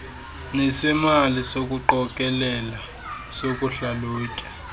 nesemali sokuqokelela sokuhlalutya